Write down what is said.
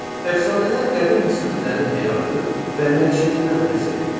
Əfsanələr qədim misirlilərin həyatı və məişətindən bəhs eləyir.